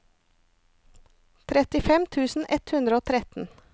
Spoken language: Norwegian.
trettifem tusen ett hundre og tretten